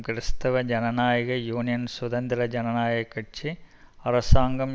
கிறிஸ்தவ ஜனநாயக யூனியன் சுதந்திர ஜனநாயக கட்சி அரசாங்கம்